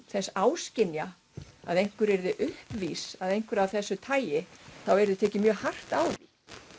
þess áskynja að einhver yrði uppvís að einhverju af þessu tagi þá yrði tekið mjög hart á því